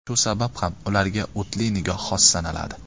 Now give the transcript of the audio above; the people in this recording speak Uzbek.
Shu sabab ham ularga o‘tli nigoh xos sanaladi.